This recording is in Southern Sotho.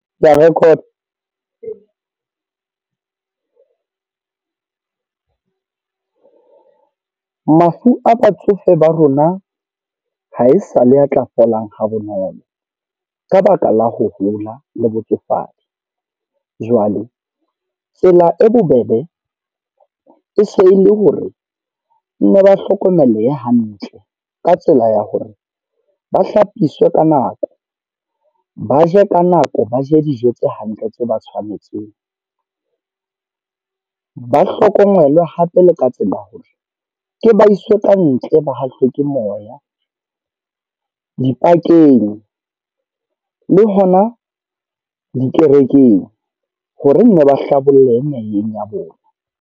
Ka record. Mafu a batsofe ba rona, ha e sa le a tla fola ha bonolo. Ka baka la ho hola le botsofadi. Jwale tsela e bobebe, e se le hore nne ba hlokomeleha hantle. Ka tsela ya hore, ba hlapiswe ka nako. Ba je ka nako, ba je dijo tse hantle tse ba tshwanetseng. Ba hlokomelwe hape le ka tsela hore ke ba iswe ka ntle ba hahlwe ke moya dipakeng, le hona dikerekeng. Hore nne ba hlabolleha meyeng ya bona.